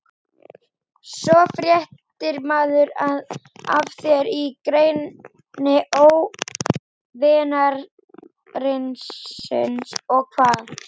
Svo fréttir maður af þér í greni óvinarins- og hvað?